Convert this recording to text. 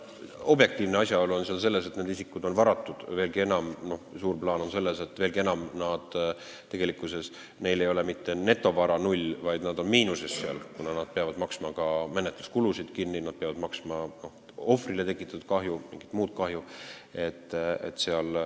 Objektiivne asjaolu on see, et need isikud on varatud, veelgi enam, suures plaanis ei ole nende netovara mitte null, vaid nad on miinuses, kuna nad peavad maksma ka menetluskulusid kinni, peavad hüvitama ohvrile tekitatud kahju ja mingit muud kahju.